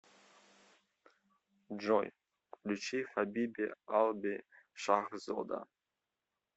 джой включи хабиби алби шахзода